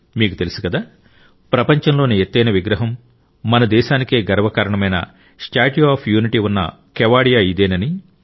మీకు తెలుసు కదా ప్రపంచంలోని ఎత్తైన విగ్రహం మన దేశానికే గర్వకారణమైన స్టాట్యూ ఆఫ్ యూనిటీ ఉన్న కెవాడియా ఇదేనని